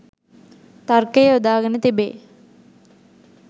තර්කය යොදාගෙන තිබේ.